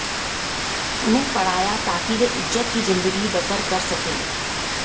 उन्हें पढ़ाया ताकि वे इज्जत की ज़िंदगी बसर कर सकें